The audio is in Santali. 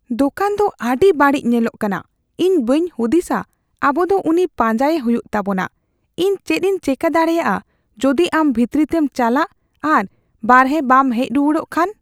ᱫᱳᱠᱟᱱ ᱫᱚ ᱟᱹᱰᱤ ᱵᱟᱹᱲᱤᱡ ᱧᱮᱞᱚᱜ ᱠᱟᱱᱟ ᱾ ᱤᱧ ᱵᱟᱹᱧ ᱦᱩᱫᱤᱥᱟ ᱟᱵᱚ ᱫᱚ ᱩᱱᱤ ᱯᱟᱸᱡᱟᱭᱮ ᱦᱩᱭᱩᱜ ᱛᱟᱵᱚᱱᱟ ᱾ ᱤᱧ ᱪᱮᱫᱤᱧ ᱪᱮᱠᱟ ᱫᱟᱲᱮᱭᱟᱜᱼᱟ ᱡᱩᱫᱤ ᱟᱢ ᱵᱷᱤᱛᱨᱤᱛᱮᱢ ᱪᱟᱞᱟᱜ ᱟᱨ ᱵᱟᱦᱨᱮ ᱵᱟᱢ ᱦᱮᱡ ᱨᱩᱣᱟᱹᱲᱚᱜ ᱠᱷᱟᱱ ?